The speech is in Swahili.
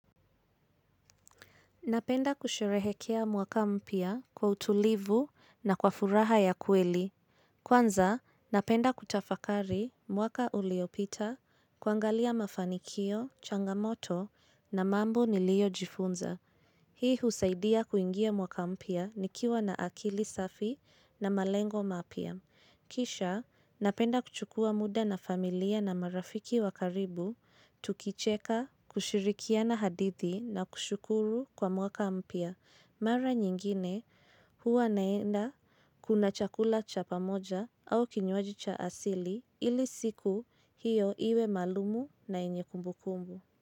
Napenda kusherehekea mwaka mpya kwa utulivu na kwa furaha ya kweli. Kwanza, napenda kutafakari mwaka uliopita kuangalia mafanikio, changamoto na mambo niliyojifunza. Hii husaidia kuingia mwaka mpya nikiwa na akili safi na malengo mapya. Kisha napenda kuchukua muda na familia na marafiki wa karibu, tukicheka, kushirikiana hadithi na kushukuru kwa mwaka mpya. Mara nyingine huwa naenda kuna chakula cha pamoja au kinywaji cha asili ili siku hiyo iwe malumu na yenye kumbukumbu.